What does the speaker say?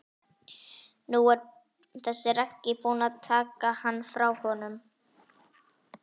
Nú er þessi Raggi búinn að taka hann frá honum.